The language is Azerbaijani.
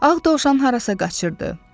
Ağ dovşan harasa qaçırdı.